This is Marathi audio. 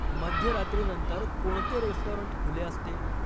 मध्यरात्री नंतर कोणते रेस्टॉरंट खुले असते